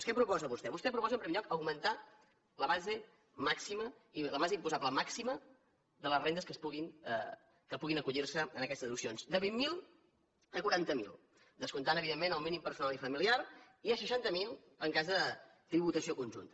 què proposa vostè vostè proposa en primer lloc augmentar la base imposable màxima de les rendes que puguin acollir se a aquestes deduccions de vint mil a quaranta mil descomptant evidentment el mínim personal i familiar i a seixanta mil en cas de tributació conjunta